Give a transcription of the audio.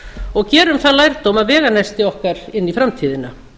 og gerum þann lærdóm að veganesti okkar inn í framtíðina